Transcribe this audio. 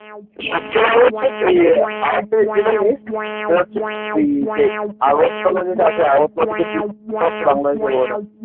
সবচেয়ে ভালো হচ্ছে আর একটা যেটা জিনিস ওই যে আগরতলা আছে আগরতলা থেকে ওই বাংলাদেশের border